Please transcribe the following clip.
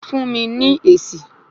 Fún mi ní èsì